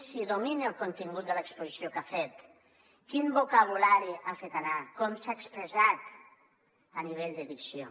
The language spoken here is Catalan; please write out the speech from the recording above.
si domina el contingut de l’exposició que ha fet quin vocabulari ha fet anar com s’ha expressat a nivell de dicció